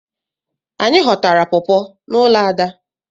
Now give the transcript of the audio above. Anyị ghọtara pọpọ n'ụlọ Ada.